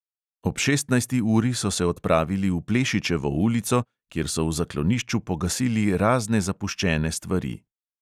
Ob šestnajsti uri so se odpravili v plešičevo ulico, kjer so v zaklonišču pogasili razne zapuščene stvari.